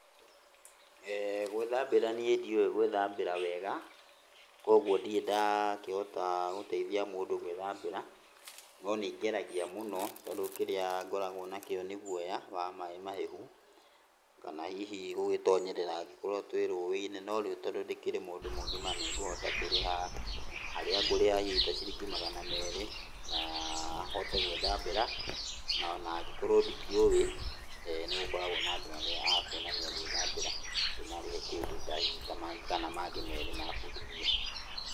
Gũithambĩra niĩ ndiũĩ gũĩthambĩra wega, kwoguo ndirĩ ndahota gũteithia mũndũ gũĩthambĩra. No nĩ ngeragia mũno tondũ kĩrĩa ngoragwo nakĩo nĩ guoya wa maai mahehu, kana hihi gũgĩtonyerera angĩkorwo twĩ rũĩ-inĩ. No rĩu tondũ ndĩmũndũ mũgima nĩ ngũhota kũrĩha, harĩa hihi ngũrĩha ta ciringi magana merĩ, na hote gũĩthambĩra. Na angĩkorwo ndikĩũĩ, nĩ gũkoragwo na andũ arĩa akuonania gwĩthambĩra ndĩmũrĩhe hihi mangĩ merĩ mabundithie.